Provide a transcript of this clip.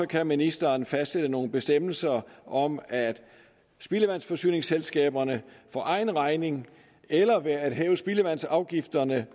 kan ministeren fastsætte nogle bestemmelser om at spildevandsforsyningsselskaberne for egen regning eller ved at hæve spildevandsafgifterne